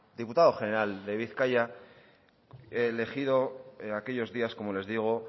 diputado general de bizkaia elegido aquellos días como les digo